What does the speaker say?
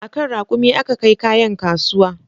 A kan raƙumi aka kai kayan kasuwa